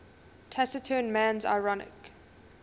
taciturn man's ironic